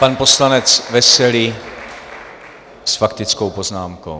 Pan poslanec Veselý s faktickou poznámkou.